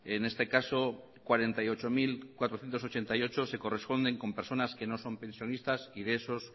en este caso cuarenta y ocho mil cuatrocientos ochenta y ocho se corresponden con personas que no son pensionistas y de esos